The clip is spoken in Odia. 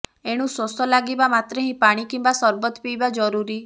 ଏଣୁ ଶୋଷ ଲାଗିବା ମାତ୍ରେ ହିଁ ପାଣି କିମ୍ବା ସରବତ୍ ପିଇବା ଜରୁରୀ